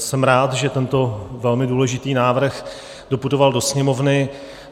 Jsem rád, že tento velmi důležitý návrh doputoval do Sněmovny.